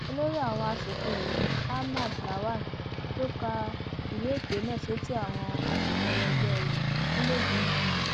olórí àwọn asòfin yìí ahmad lawan ló ka ìwé ìpè náà sétí àwọn asòfin ẹlẹgbẹ rẹ nílẹẹgbìmọ wọn